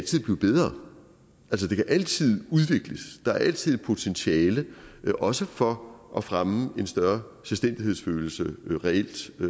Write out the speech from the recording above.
blive bedre altså det kan altid udvikles der er altid potentiale også for at fremme en større selvstændighedsfølelse reelt